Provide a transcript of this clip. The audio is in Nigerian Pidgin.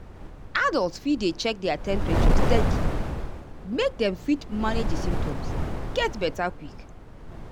adults fit dey check their temperature steady make dem fit manage di symptoms get beta quick.